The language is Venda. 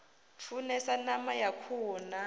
funesa ṋama ya khuhu na